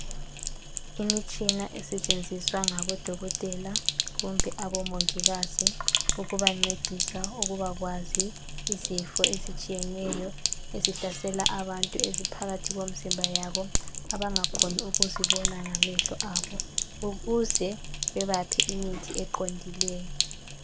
Imitshina esetshenziswa ngodokotela kumbe omongikazi ukubancedisa ukubakwazi izifo ezitshiyeneyo ezihlasela abantu eziphakathi kwemizimba yabo abangeke bazibone ngamehlo abo ukuze babaphe imithi eqondileyo.